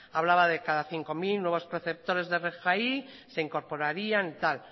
hablaba de cada cinco mil nuevos perceptores de rgi se incorporarían y tal